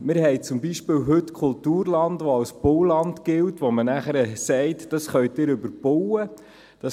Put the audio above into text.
– Wir haben heute beispielsweise Kulturland, welches als Bauland gilt, von welchem man sagt, dass man es überbauen kann.